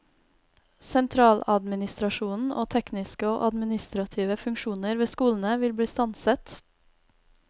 Sentraladministrasjonen og tekniske og administrative funksjoner ved skolene vil bli stanset.